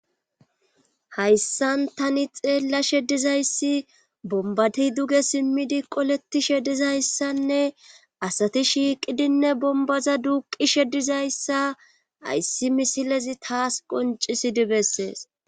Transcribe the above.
hayssan tani xeellashe dizayssi bombati duge simmidi qoletishe dizayssanne asati shiiqidinne bombaza duuqishe dizayssa hayssi misilezi taas qoncisidi bessees